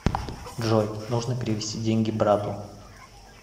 джой нужно перевести деньги брату